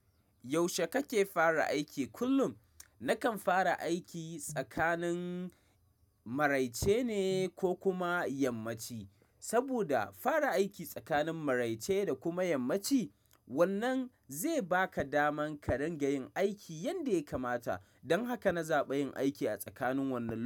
Yaushe kake fara aiki? Kullum nakan fara aiki tsakanin maraice ne ko kuma yammaci, saboda fara aiki tsakanin maraice da kuma yammaci wannan zai baka daman ka rinƙa yin aiki yanda ya kamata. Don haka na zaɓi yin aiki a tsakanin wannan.